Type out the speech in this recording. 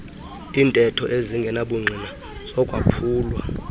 iintetho ezingenabungqina zokwaphulwa